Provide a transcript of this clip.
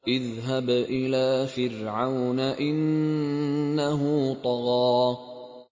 اذْهَبْ إِلَىٰ فِرْعَوْنَ إِنَّهُ طَغَىٰ